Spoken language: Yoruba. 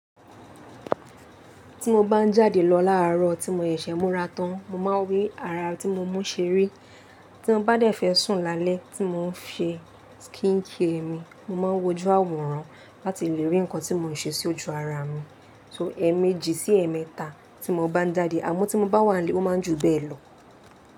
Tí mo bá ń jáde lọ láàárọ̀ tí mo ṣẹ̀ṣẹ̀ múra tán, mo máa ń rí ara tí mo mú ṣeré. Tí mo bá dẹ̀ fẹ́ sùn lálẹ́ tí mo ń ṣe skin care mi, mo máa ń wojú àwòrán láti lè rí nǹkan tí mò ń ṣe sí ojú ara mi. So ẹ́ẹ̀mejì sí ẹ́ẹ̀mẹ́ta tí mo bá ń jáde, àmọ́ tí mo bá wà nlé, ó máa ń ju bẹ́ẹ̀ lọ.